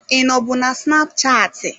Ị nọbụ na snapchatị?